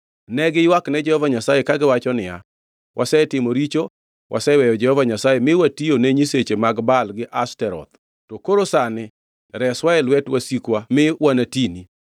Ne giywakne Jehova Nyasaye kagiwacho niya, ‘Wasetimo richo, waseweyo Jehova Nyasaye mi watiyo ne nyiseche mag Baal gi Ashtoreth. To koro sani reswa e lwet wasikwa mi wanatini.’